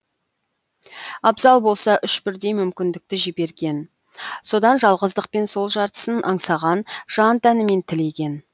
абзал болса үш бірдей мүмкіндікті жіберген содан жалғыздықпен сол жартысын аңсаған жан тәнімен тілеген